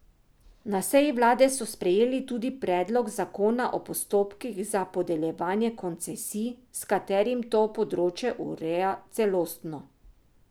Na seji vlade so sprejeli tudi predlog zakona o postopkih za podeljevanje koncesij, s katerim to področje ureja celostno.